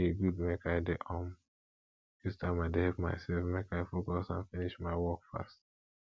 e good make i dey um use timer dey help myself make i focus and finish my work fast